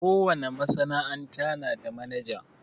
Ko wane masana'anta na da manaja.